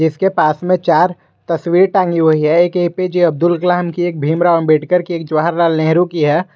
इसके पास में चार तस्वीर टांगी हुई है एक A P J Abdul Kalam की एक भीमराव अंबेडकर की एक जवाहरलाल नेहरू की है।